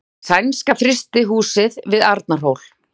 Sænska frystihúsið við Arnarhól.